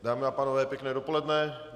Dámy a pánové, pěkné dopoledne.